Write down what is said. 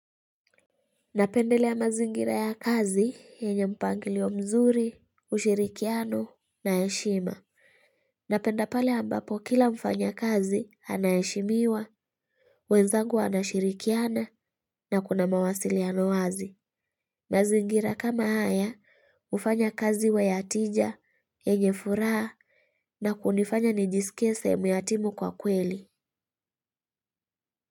Napendelea mazingira ya kazi enye mpangilio mzuri, ushirikiano na eshima. Napenda pale ambapo kila mfanya kazi anayeshimiwa, wenzangu anashirikiana na kuna mawasiliano wazi. Mazingira kama haya ufanya kazi uwa ya tija enye furaha na kunifanya nijisikie semu ya timu kwa kweli.